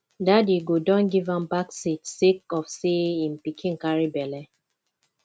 daddy go don give am back seat sake of sey im pikin carry belle